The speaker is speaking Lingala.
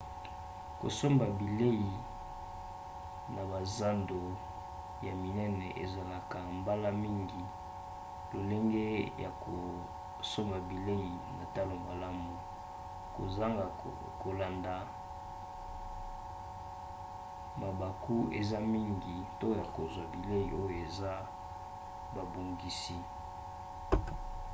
kosomba bilei na bazando ya minene ezalaka mbala mingi lolenge ya kosomba bilei na talo malamu. kozanga kolanda mabaku eza mingi te ya kozwa bilei oyo esi babongisi